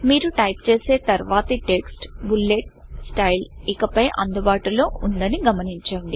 మేరు type చేసే తర్వాతి text bullet style bullet style ఇకపై అందుబాటులో లేదని గమనించండి